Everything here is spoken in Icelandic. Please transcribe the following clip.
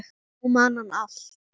Nú man hann allt.